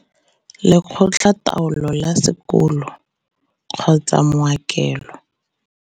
Lekgotla taolo la Sekolo kgotsa mao kelo.